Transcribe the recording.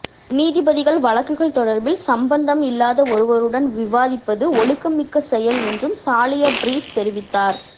நீதிபதிகள் வழக்குகள் தொடர்பில் சம்பந்தம் இல்லாத ஒருவருடன் விவாதிப்பது ஒழுக்கம் மிக்க செயல் என்றும் சாலிய பீரிஸ் தெரிவித்தார்